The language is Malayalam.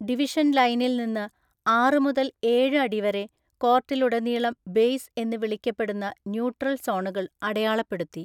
ഡിവിഷൻ ലൈനിൽ നിന്ന് ആറ് മുതൽ ഏഴ് അടി വരെ കോർട്ടിലുടനീളം ബേസ് എന്ന് വിളിക്കപ്പെടുന്ന ന്യൂട്രൽ സോണുകൾ അടയാളപ്പെടുത്തി.